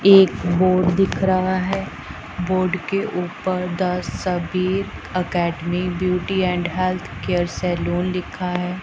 एक बोर्ड दिख रहा है बोर्ड के ऊपर Dasabir academy beauty and health care salon लिखा है।